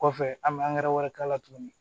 Kɔfɛ an bɛ wɛrɛ k'a la tuguni